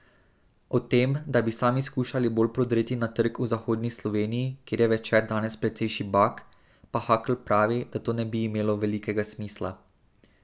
O tem, da bi sami skušali bolj prodreti na trg v zahodni Sloveniji, kjer je Večer danes precej šibak, pa Hakl pravi, da to ne bi imelo velikega smisla.